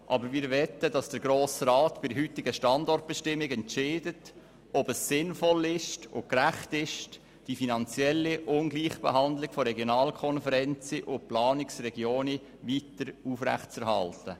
Wir möchten aber, dass der Grosse Rat im Rahmen der heutigen Standortbestimmung entscheidet, ob es sinnvoll und gerecht ist, die finanzielle Ungleichbehandlung der Regionalkonferenzen und Planungsregionen weiter aufrechtzuerhalten.